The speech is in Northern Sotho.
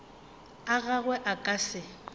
a gagwe a ka se